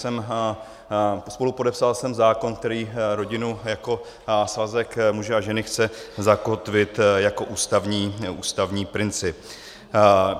Spolupodepsal jsem zákon, který rodinu jako svazek muže a ženy chce zakotvit jako ústavní princip.